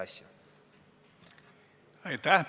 Aitäh!